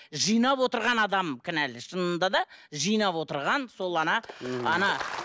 жинап отырған адам кінәлі шынында да жинап отырған сол